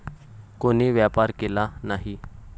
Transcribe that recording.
कोणी व्यापार केला नाही.